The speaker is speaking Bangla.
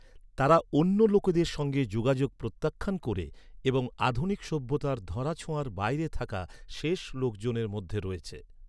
তারা অন্য লোকেদের সঙ্গে যোগাযোগ প্রত্যাখ্যান ক’রে এবং আধুনিক সভ্যতার ধরাছোঁয়ার বাইরে থাকা শেষ লোকজনের মধ্যে রয়েছে।